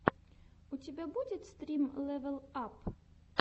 у тебя будет стрим лэвел ап